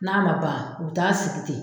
N'a ma ban u bɛ taa sigi ten.